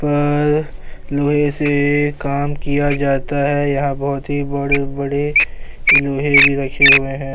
سے کام کیا جاتا ہے۔ یہاں بھوت ہی بڑے-بڑے بھی رکھے ہوئے ہے۔